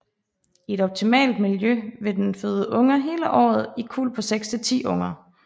I et optimalt miljø vil den føde unger hele året i kuld på 6 til 10 unger